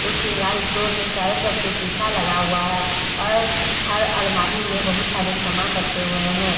शिंगार store में चारो तरफ से सीसा लगा हुआ है और हर अलमारी में बहुत सारे सामान रखे हुए हैं।